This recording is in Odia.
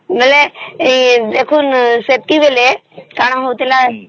ବେଳେ ଦେଖାନ ସେତିକି ବେଳେ କଣ ହଉଥିଲା